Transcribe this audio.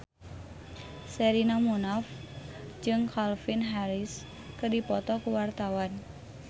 Sherina Munaf jeung Calvin Harris keur dipoto ku wartawan